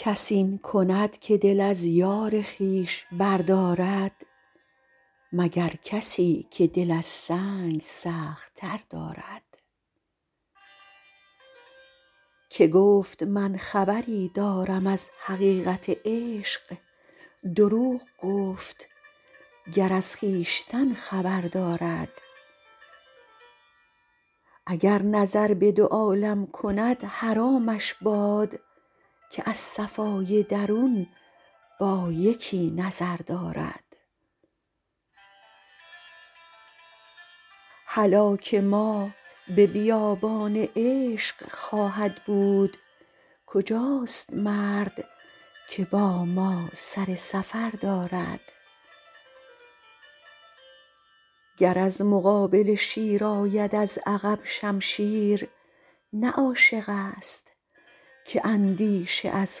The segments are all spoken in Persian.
کس این کند که دل از یار خویش بردارد مگر کسی که دل از سنگ سخت تر دارد که گفت من خبری دارم از حقیقت عشق دروغ گفت گر از خویشتن خبر دارد اگر نظر به دو عالم کند حرامش باد که از صفای درون با یکی نظر دارد هلاک ما به بیابان عشق خواهد بود کجاست مرد که با ما سر سفر دارد گر از مقابله شیر آید از عقب شمشیر نه عاشق ست که اندیشه از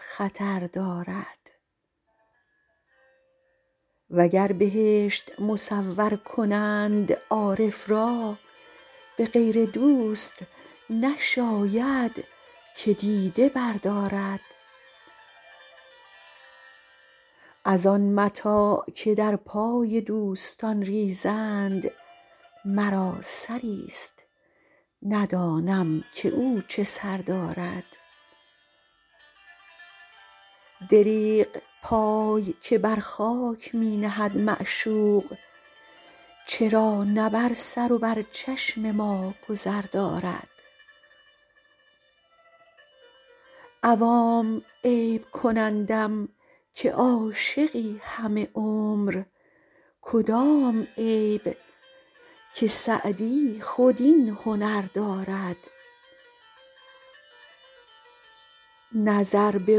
خطر دارد و گر بهشت مصور کنند عارف را به غیر دوست نشاید که دیده بردارد از آن متاع که در پای دوستان ریزند مرا سری ست ندانم که او چه سر دارد دریغ پای که بر خاک می نهد معشوق چرا نه بر سر و بر چشم ما گذر دارد عوام عیب کنندم که عاشقی همه عمر کدام عیب که سعدی خود این هنر دارد نظر به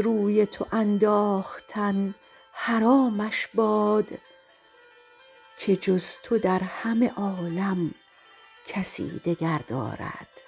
روی تو انداختن حرامش باد که جز تو در همه عالم کسی دگر دارد